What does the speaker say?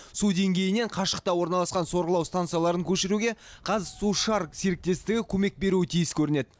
су деңгейінен қашықта орналасқан сорғылау станцияларын көшіруге қазсушар серіктестігі көмек беруі тиіс көрінеді